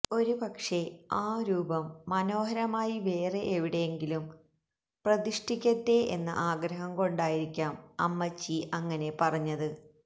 ഒരു പക്ഷേ ആ രൂപം മനോഹരമായി വേറെ എവിടെയെങ്കിലും പ്രതിഷ്ഠിക്കട്ടെ എന്ന ആഗ്രഹം കൊണ്ടായിരിക്കാം അമ്മച്ചി അങ്ങനെ പറഞ്ഞത്